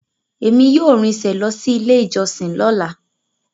Emi yóò rinṣe lọ si ile ijọsin lọla.